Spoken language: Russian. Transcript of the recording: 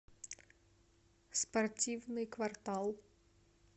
спортивный квартал